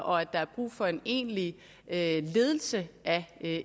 og at der er brug for en egentlig ledelse ledelse af